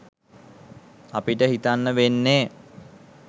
අපිට හිතන්න වෙන්නෙ